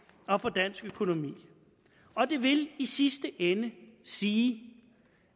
og for dansk økonomi og det vil i sidste ende sige